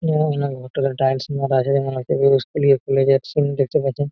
hotel এ tiles মারা আছে স্কুল -এ স্কুল -এ যাচ্ছেন দেখতে পাচ্ছেন --